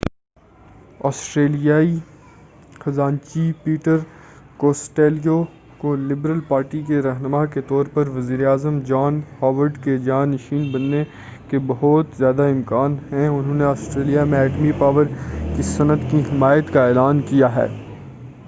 آسٹریلیائی خزانچی Peter Costello کو Liberal Party کے رہنما کے طور پر وزیر اعظم جان ہاورڈ کے جاں نشیں بننے کے بہت زیادہ امکان ہیں انہوں نے آسٹریلیا میں ایٹمی پاور کی صنعت کی حمایت کا اعلان کیا ہے